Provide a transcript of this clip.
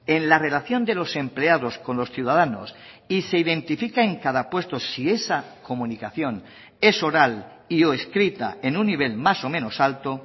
en la relación de los empleados con los ciudadanos y se identifica en cada puesto si esa comunicación es oral y o escrita en un nivel más o menos alto